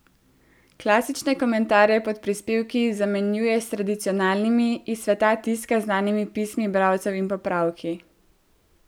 Klasične komentarje pod prispevki zamenjuje s tradicionalnimi, iz sveta tiska znanimi pismi bralcev in popravki.